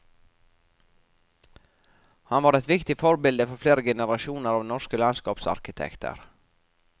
Han var et viktig forbilde for flere generasjoner av norske landskapsarkitekter.